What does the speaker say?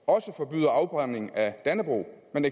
også forbyder afbrænding af dannebrog men